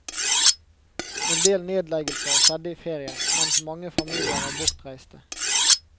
En del nedleggelser skjedde i ferien, mens mange familier var bortreiste.